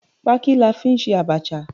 Pááki la fí n sẹ abacha